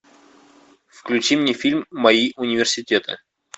включи мне фильм мои университеты